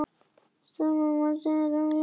Sama má segja um tónlist.